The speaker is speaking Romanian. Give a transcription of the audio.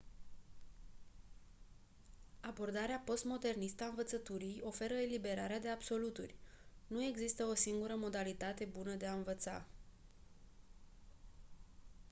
abordarea postmodernistă a învățăturii oferă eliberarea de absoluturi nu există o singură modalitate bună de a învăța